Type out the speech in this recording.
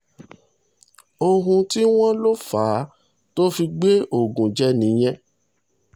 ohun tí wọ́n lò fà á tó fi gbé ogun jẹ nìyẹn